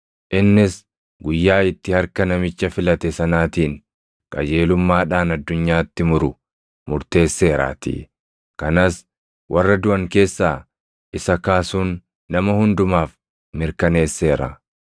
Innis guyyaa itti harka namicha filate sanaatiin qajeelummaadhaan addunyaatti muru murteesseeraatii; kanas warra duʼan keessaa isa kaasuun nama hundumaaf mirkaneesseera.”